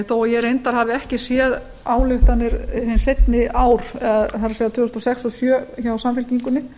þó ég reyndar hafi ekki séð ályktanir hin seinni ár það er tvö þúsund og sex og tvö þúsund og sjö hjá samfylkingunni